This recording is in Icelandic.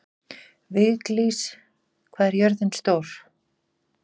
Viglís, hvað er jörðin stór?